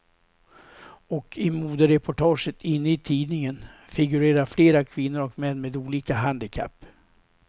Och i modereportaget inne i tidningen figurerar flera kvinnor och män med olika handikapp.